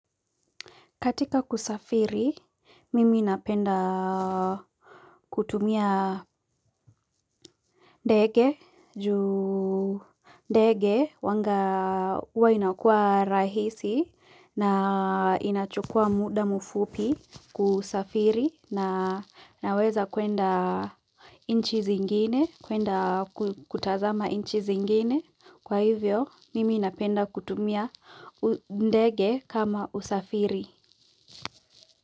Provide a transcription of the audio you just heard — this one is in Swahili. Katika kusafiri, mimi napenda kutumia ndege juu huwanga huwa inakuwa rahisi na inachukua muda mfupi kusafiri naweza kuenda nchi zingine kuenda kutazama nchi zingine. Kwa hivyo, mimi napenda kutumia ndege kama usafiri.